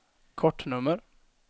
kortnummer